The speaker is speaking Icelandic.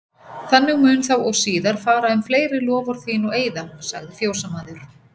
Þannig mun þá og síðar fara um fleiri loforð þín og eiða, sagði fjósamaður.